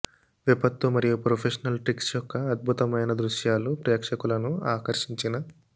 విపత్తు మరియు professional tricks యొక్క అద్భుతమైన దృశ్యాలు ప్రేక్షకులను ఆకర్షించిన